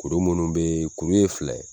Kuru minnu be yen kuru ye filɛ ye